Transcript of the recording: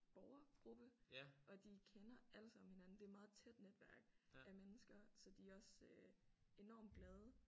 Borgergruppe og de kender alle sammen hinanden det er meget tæt netværk af mennesker så de er også enormt glade